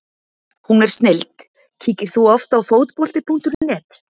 Hún er snilld Kíkir þú oft á Fótbolti.net?